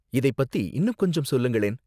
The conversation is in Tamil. இதைப் பத்தி இன்னும் கொஞ்சம் சொல்லுங்களேன்.